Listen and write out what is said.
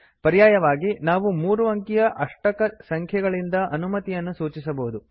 ಪರ್ಯಾಯವಾಗಿ ನಾವು ಮೂರು ಅಂಕಿಯ ಅಷ್ಟಕ ಸಂಖ್ಯೆಗಳಿಂದ ಅನುಮತಿಗಳನ್ನು ಸೂಚಿಸಬಹುದು